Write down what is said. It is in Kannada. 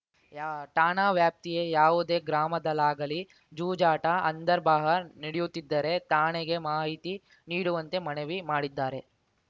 ಯಾ ಠಾಣಾ ವ್ಯಾಪ್ತಿಯ ಯಾವುದೇ ಗ್ರಾಮದಲ್ಲಾಗಲಿ ಜೂಜಾಟ ಅಂದರ್‌ ಬಾಹರ್‌ ನಡೆಯುತ್ತಿದ್ದರೆ ಠಾಣೆಗೆ ಮಾಹತಿ ನೀಡುವಂತೆ ಮನವಿ ಮಾಡಿದ್ದಾರೆ